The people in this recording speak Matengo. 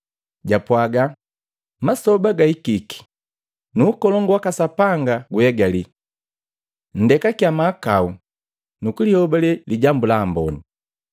Japwaaga, “Masoba gahikiki, nu ukolongu waka Sapanga guegali! Nndekakya mahakau nukulihobalee Lijambu la Amboni!”